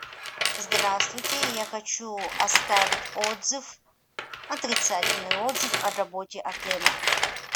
здравствуйте я хочу оставить отзыв отрицательный отзыв о работе отеля